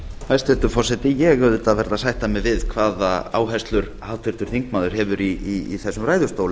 hæstvirtur forseti ég auðvitað verð að sætta mig við hvaða áherslur háttvirtur þingmaður hefur í þessum ræðustól